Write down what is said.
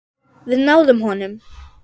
Við náðum honum.